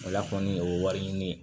O la kɔni o ye wari ɲini ye